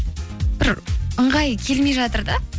бір ыңғайы келмей жатыр да